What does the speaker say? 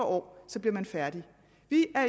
år og så bliver man færdig